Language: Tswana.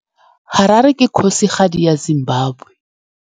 Harare ke kgosigadi ya Zimbabwe.